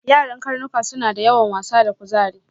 Yaran karnuka suna da yawan wasa da kuzari.